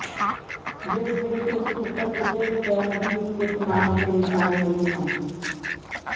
ਜਿਸ ਵਿਚ ਉਸ ਉਪਰ ਕਿਸੇ ਵੀ ਤਰ੍ਹਾਂ ਦੀ ਕੁੱਟਮਾਰ ਦੇ ਨਿਸ਼ਾਨ ਨਹੀਂ ਸਨ